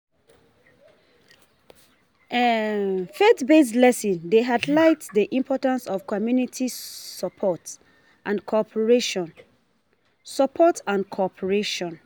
Faith-based lessons dey highlight the importance of community support and cooperation. support and cooperation.